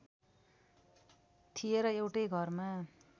थिए र एउटै घरमा